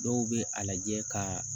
Dɔw bɛ a lajɛ ka